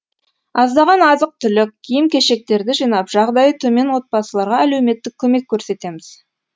аздаған азық түлік киім кешектерді жинап жағдайы төмен отбасыларға әлеуметтік көмек көрсетеміз